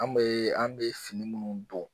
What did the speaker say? An bɛ an bɛ fini minnu don.